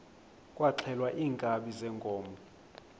kwaxhelwa iinkabi zeenkomo